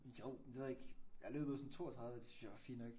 Jo men det ved jeg ikke. Jeg har løbet sådan 32 det synes jeg var fint nok